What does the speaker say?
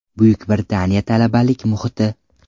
Buyuk Britaniya talabalik muhiti.